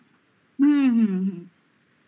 হুম হুম